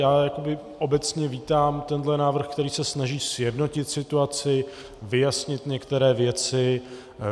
Já jakoby obecně vítám tenhle návrh, který se snaží sjednotit situaci, vyjasnit některé věci.